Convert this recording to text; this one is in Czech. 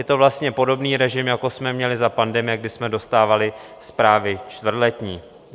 Je to vlastně podobný režim, jako jsme měli za pandemie, kdy jsme dostávali zprávy čtvrtletní.